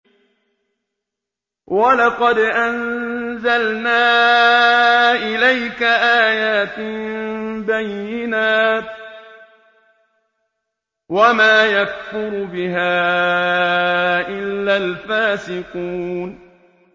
وَلَقَدْ أَنزَلْنَا إِلَيْكَ آيَاتٍ بَيِّنَاتٍ ۖ وَمَا يَكْفُرُ بِهَا إِلَّا الْفَاسِقُونَ